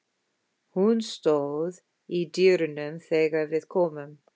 Hún stóð í dyrunum þegar við komum.